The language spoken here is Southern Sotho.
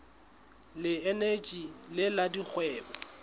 le eneji le la dikgwebo